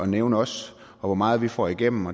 nævne os og hvor meget vi får igennem